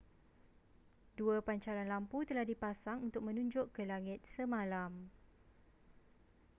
dua pancaran lampu telah dipasang untuk menunjuk ke langit semalam